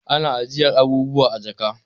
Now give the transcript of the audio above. Ana ajiyar abubuwa a jaka